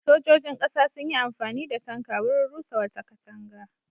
Sojojin ƙasa sun yi amfani da tanka wurin rusa wata katanga.